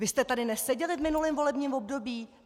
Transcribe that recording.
Vy jste tady neseděli v minulém volebním období?